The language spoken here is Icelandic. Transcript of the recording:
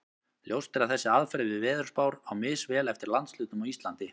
Ljóst er að þessi aðferð við veðurspár á misvel við eftir landshlutum á Íslandi.